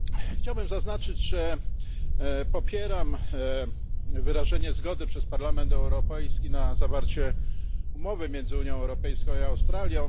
Chciałbym zaznaczyć, że popieram wyrażenie zgody przez Parlament Europejski na zawarcie umowy między Unią Europejską i Australią.